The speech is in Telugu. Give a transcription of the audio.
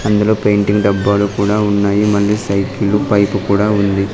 అందులో పెయింటింగ్ డబ్బాలు కూడా ఉన్నాయి మళ్ళీ సైకిళ్లు పైపు కూడా ఉంది.